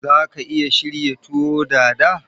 Za ka iya shirya tuwo Dada?